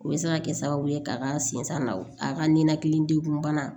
O bɛ se ka kɛ sababu ye k'a ka sin na a ka ninakili degun bana